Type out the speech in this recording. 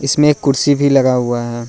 इसमे एक कुर्सी भी लगा हुआ है।